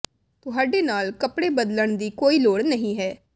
ਤੁਹਾਡੇ ਨਾਲ ਕੱਪੜੇ ਬਦਲਣ ਦੀ ਕੋਈ ਲੋੜ ਨਹੀਂ ਹੈ